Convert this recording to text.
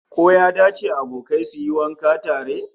Ko ya dace abokai su yi wanka tare?